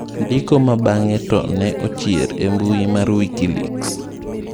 Ndiko go bang'e to ne ochier e mbuyi mar wikileaks.